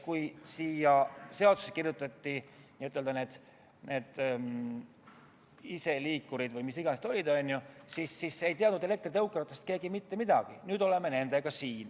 Kui seadusesse kirjutati sisse need n-ö iseliikurid või mis iganes need olid, siis ei teadnud elektritõukeratastest keegi mitte midagi, nüüd aga oleme nendega siin.